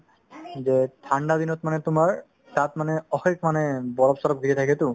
যে ঠাণ্ডা দিনত মানে তোমাৰ তাত মানে অশেষ মানে বৰফ-চৰফ দি কিনে থাকেতো